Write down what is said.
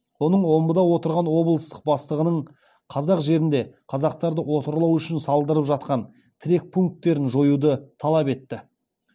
оның омбыда отырған облыстық бастығының қазақ жерінде қазақтарды отарлау үшін салдырып жатқан тірек пункттерін жоюды талап етті